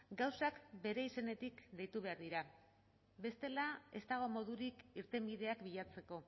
gauzak bere izenetik deitu behar dira bestela ez dago modurik irtenbideak bilatzeko